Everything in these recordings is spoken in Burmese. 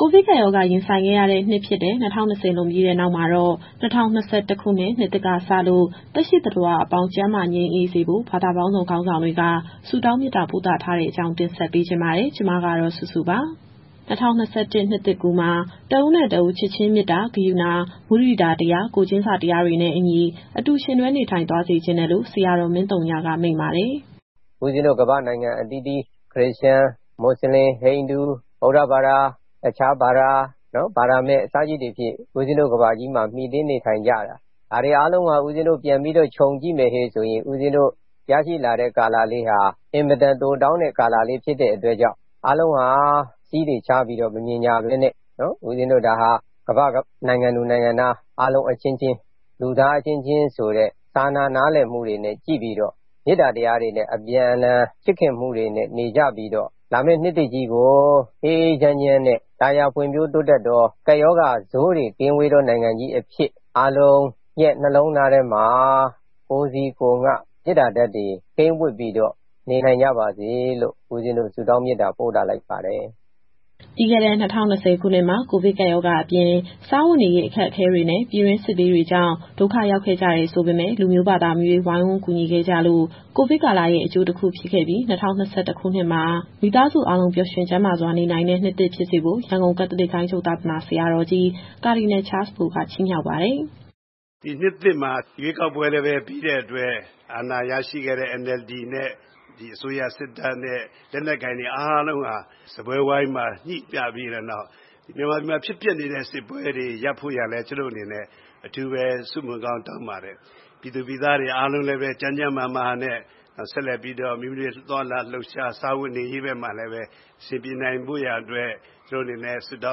ကိုဗစ်ကပ်ရောဂါရင်ဆိုင်ခဲ့ရတဲ့နှစ်ဖြစ်တဲ့ ၂၀၂၀ လွန်ပြီးတဲ့နောက်မှာတော့၊ ၂၀၂၁ခုနှစ် နှစ်သစ်ကစလို့ သက်ရှိသတ္တဝါအပေါင်း ကျန်းမာငြိမ်းအေးစေဖို့ ဘာသာပေါင်းစုံခေါင်းဆောင်တွေက ဆုတောင်းမေတ္တာပို့သထားတဲ့အကြောင်း ဗွီအိုအေမြန်မာပိုင်း သတင်းထောက် မစုစုက တင်ဆက်ပေးပါမယ်။ ၂၀၂၁ ခုနှစ် နှစ်သစ်ကူးမှာ တဦးနဲ့တဦး ချစ်ခြင်းမေတ္တာ၊ ကရုဏာ၊ မုဒိတာတရား၊ ကိုယ်ချင်းစာတရားတွေနဲ့အညီ အတူယှဉ်တွဲနေထိုင်သွားစေချင်တယ်လို့ ဆရာတော် မင်းသုညက မိန့်ပါတယ်။ "ဦးပဇင်းတို့ ကမ္ဘာ့နိုင်ငံအသီးသီး ခရစ်ယာန်၊ မွတ်စလင်၊ ဟိန္ဒူ၊ ဗုဒ္ဓဘာသာ၊ အခြားဘာသာ၊ ဘာသာမဲ့အစရှိသဖြင့် ဦးပဇင်းတို့ကမ္ဘာကြီးမှာ မှီတင်းနေထိုင်ကြတာ။ ဒါတွေအားလုံးပြန်ပြီးတော့ ခြုံကြည့်မယ်ဆိုရင် ဦးပဇင်းတို့ ရရှိလာတဲ့ကာလလေးဟာ အင်မတန်တိုတောင်းတဲ့ကာလလေးဖြစ်တဲ့အတွက်ကြောင့် အားလုံးဟာ စည်းတွေခြားပြီးတော့ မမြင်ကြဘဲနဲ့ ကမ္ဘာ့နိုင်ငံသူ၊ နိုင်ငံသားအားလုံးအချင်းချင်း၊ လူသားအချင်းချင်းဆိုတဲ့ စာနာနားလည်မှုတွေနဲ့ကြည့်ပြီးတော့ မေတ္တာတရားတွေနဲ့ အပြန်အလှန် ချစ်ခင်မှုတွေနဲ့နေကြပြီးတော့ လာမယ့်နှစ်သစ်ကြီးကို အေးအေးချမ်းချမ်းနဲ့ သာယာဖွံ့ဖြိုးတိုးတက်သော၊ ကပ်ရောဂါဆိုးတွေကင်းဝေးသော နိုင်ငံတော်ကြီးအဖြစ် အားလုံးရဲ့နှလုံးသားထဲမှာ ကိုယ်စီကိုယ်ငှမေတ္တာဓာတ်တွေ ကိန်းဝပ်ပြီးတော့ နေနိုင်ကြပါစေလို့ ဦးပဇင်းတို့ဆုတောင်း မေတ္တာပို့သလိုက်ပါတယ်။" ပြီးခဲ့တဲ့ ၂၀၂၀ ခုနှစ်မှာ ကိုဗစ်ကပ်ရောဂါအပြင် စားဝတ်နေရေးအခက်အခဲနဲ့ ပြည်တွင်းစစ်ဘေးတွေကြောင့် ဒုက္ခရောက်ခဲ့ကြတယ်ဆိုပေမဲ့ လူမျိုးဘာသာမရွေး ဝိုင်းဝန်းကူညီခဲ့ကြလို့ ကိုဗစ်ကာလရဲ့အကျိုးတခုဖြစ်ခဲ့ပြီး၊ ၂၀၂၁ခုနှစ်မှာ မိသားစုအားလုံး ပျော်ရွှင်ကျန်းမာစွာ နေနိုင်တဲ့နှစ်သစ်ဖြစ်စေဖို့ ရန်ကုန်ကက်သလစ်ဂိုဏ်းချုပ် သာသနာဆရာတော်ကြီး ကာဒီနယ်ချားစ်ဘိုက ချီးမြှောက်ပါတယ်။ "ဒီနှစ်သစ်မှာ ရွေးကောက်ပွဲလည်းပြီးတဲ့အတွက် အာဏာရရှိခဲ့တဲ့ NLD နဲ့ ဒီအစိုးရစစ်တပ်နဲ့ လက်နက်ကိုင်တွေအားလုံးဟာ စားပွဲဝိုင်းမှာညှိကြပြီးတဲ့နောက် မြန်မာပြည်မှာဖြစ်ပျက်နေတဲ့စစ်ပွဲတွေရပ်ဖို့ရာလည်း ကျွန်ုပ်တို့အနေနဲ့ အထူးပဲဆုမွန်ကောင်းတောင်းပါတယ်။ ပြည်သူပြည်သားတွေအားလုံးလည်းပဲ ကျန်းကျန်းမာမာနဲ့ဆက်လက်ပြီးတော့ မိမိတို့ရဲ့သွားလာလှုပ်ရှား စားဝတ်နေရေးဘက်မှာလည်းပဲ အဆင်ပြေနိုင်ဖို့ရာအတွက် ကျွန်ုပ်တို့အနေနဲ့ဆုတော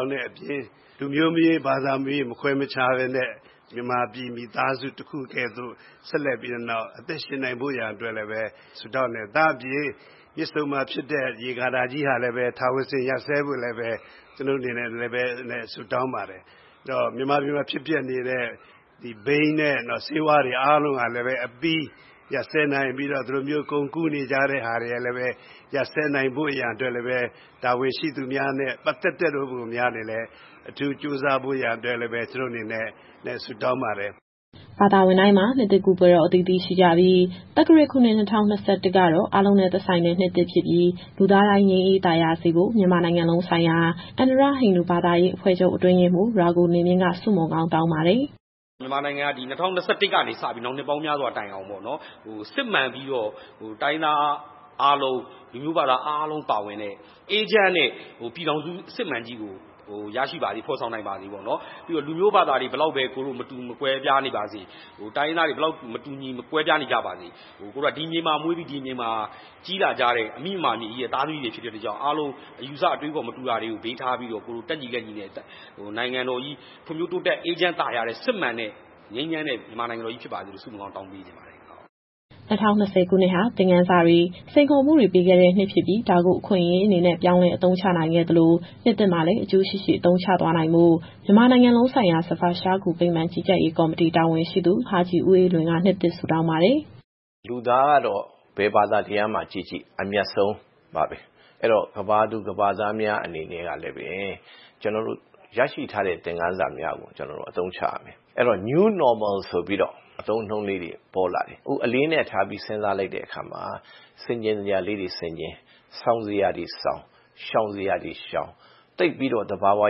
င်းတဲ့အပြင် လူမျိုးမရွေး၊ ဘာသာမရွေး မခွဲမခြားဘဲနဲ့ မြန်မာပြည်မိသားစုတခုကဲ့သို့ ဆက်လက်ပြီးတော့အသက်ရှင်နိုင်ဖို့ရာအတွက်လည်းပဲ ဆုတောင်းတယ်။ ဒါ့အပြင် မြစ်ဆုံမှာဖြစ်တဲ့ ရေကာတာကြီးဟာလည်းပဲ ထာဝစဉ်ရပ်ဆိုင်းဖို့ရာအတွက် ဆုတောင်းပါတယ်။ မြန်မာပြည်မှာဖြစ်ပျက်နေတဲ့ ဘိန်းနဲ့ မူးယစ်ဆေးဝါးတွေအားလုံးဟာလည်းပဲ အပြီးရပ်စဲနိုင်ပြီးတော့ ဒီလိုမျိုးကုန်ကူးနေကြတဲ့ဟာတွေ ရပ်စဲနိုင်ဖို့ရာအတွက်လည်းပဲ တာဝန်ရှိသူများနဲ့ပတ်သက်သောသူများလည်းပဲ အထူးကြိုးစားဖို့ရန်အတွက်လည်းပဲ ဆုတောင်းပါတယ်။" ဘာသာဝင်တိုင်းမှာ နှစ်သစ်ကူးပွဲတော်အသီးသီးရှိကြပြီး သက္ကရာဇ်ခုနှစ် ၂၀၂၁ ကတော့ အားလုံးနဲ့သက်ဆိုင်တဲ့နှစ်သစ်ဖြစ်ပြီး လူသားတိုင်းငြိမ်းအေးသာယာစေဖို့ မြန်မာနိုင်ငံလုံးဆိုင်ရာ အန္ဓရဟိန္ဒူဘာသာရေး အဖွဲ့ချုပ်အတွင်းရေးမှူး ရာဂူနေမြင့်က ဆုမွန်ကောင်းတောင်းပါတယ်။ "မြန်မာနိုင်ငံဟာ ဒီ ၂၀၂၁ကနေစပြီး နောင်နှစ်ပေါင်းများစွာတိုင်အောင် စစ်မှန်ပြီးတော့ တိုင်းရင်းသားအားလုံး၊ လူမျိုးဘာသာအားလုံးပါဝင်တဲ့ အေးချမ်းတဲ့ပြည်ထောင်စုအစစ်အမှန်ကြီးကို ရရှိပါစေ၊ ဖော်ဆောင်နိုင်ပါစေ။ ပြီးတော့ လူမျိုးဘာသာတွေ ဘယ်လောက်ပဲ မတူကွဲပြားနေပါစေ၊ တိုင်းရင်းသားတွေမတူညီ ကွဲပြားနေပါစေ အကိုတို့က ဒီမြေမှာမွေးပြီး ဒီမြေမှာကြီးလာကြတဲ့ အမိမြန်မာပြည်ကြီးရဲ့သားသမီးတွေဖြစ်တဲ့အတွက်ကြောင့် အားလုံးအယူအဆ အတွေးအခေါ်မတူတာတွေဘေးထားပြီးတော့ တက်ညီလက်ညီနဲ့ နိုင်ငံတော်ကြီးဖွံ့ဖြိုး တိုးတက်အေးချမ်းသာယာတဲ့ စစ်မှန်တဲ့ ငြိမ်းချမ်းတဲ့ မြန်မာနိုင်ငံတော်ကြီးဖြစ်ပါစေလို့ ဆုမွန်ကောင်းတောင်းပေးချင်ပါတယ်။" ၂၀၂၀ ခုနှစ်ဟာ သင်ခန်းစာတွေ၊ စိန်ခေါ်မှုတွေပေးခဲ့တဲ့နှစ်ဖြစ်ပြီး ဒါကို အခွင့်အရေးအနေနဲ့ ပြောင်းလဲအသုံးချနိုင်ခဲ့သလို၊ နှစ်သစ်မှာလည်း အကျိုးရှိရှိအသုံးချသွားနိုင်ဖို့ မြန်မာနိုင်ငံလုံးဆိုင်ရာ ဇဖာရ်ရှားဂူဗိမာန် ကြီးကြပ်ရေးကော်မတီ တာဝန်ရှိသူ ဟာဂျီဦးအေးလွင်က နှစ်သစ်ဆုတောင်းပါတယ်။ "လူသားကတော့ ဘယ်ဘာသာတရားမှာကြည့်ကြည့် အမြတ်ဆုံးပါပဲ။ အဲဒီတော့ ကမ္ဘာသူ၊ ကမ္ဘာသားများအနေနဲ့ကလည်းပဲ ရရှိထားသော သင်ခန်းစာများကို ကျနော်တို့အသုံးချရမယ်။ အဲဒီတော့ New Normal ဆိုပြီးတော့ အသုံးအနှုန်းလေးတွေ ပေါ်လာတယ်။ အခုအလေးအနက်ထားပြီး စဉ်းစားလိုက်တဲ့အခါမှာ ဆင်ခြင်စရာလေးတွေဆင်ခြင်၊ ဆောင်စရာတွေဆောင်၊ ရှောင်စရာတွေရှောင်၊ သိပ်ပြီးတော့ သဘာဝ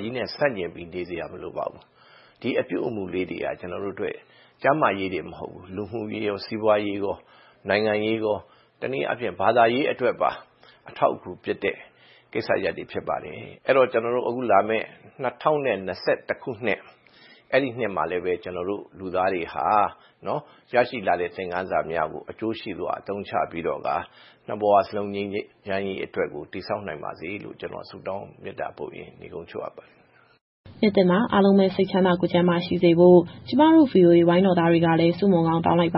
ကြီးနဲ့ဆန့်ကျင်ပြီး နေစရာမလိုပါဘူး။ ဒီအပြုအမူလေးတွေက ကျနော်တို့အတွက် ကျန်းမာရေးတင်မဟုတ်ဘူး။ လူမှုရေး၊ စီးပွားရေး၊ နိုင်ငံရေး၊ တနည်းအားဖြင့် ဘာသာရေးအတွက်ပါ အထောက်အကူဖြစ်တဲ့ ကိစ္စရပ်တွေဖြစ်ပါတယ်။ အဲဒီတော့ အခုလာမယ့် ၂၀၂၁ ခုနှစ်မှာလည်းပဲ ကျနော်တို့လူသားတွေဟာ ရရှိလာတဲ့သင်ခန်းစာများကို အကျိုးရှိစွာအသုံးချပြီးတော့ကာ နှစ်ဘဝလုံးငြိမ်းချမ်းရေးအတွက်ကို တည်ဆောက်နိုင်ပါစေလို့ ကျနော်ဆုတောင်းမေတ္တာပို့ရင်း နိဂုံးချုပ်အပ်ပါတယ်ခင်ဗျာ။" နှစ်သစ်မှာအားလုံးပဲ စိတ်ချမ်းသာကိုယ်ကျန်းမာရှိစေဖို့ ကျမတို့ ဗွီအိုအေဝိုင်းတော်သားတွေကလည်း ဆုမွန်ကောင်းတောင်းလိုက်ပါ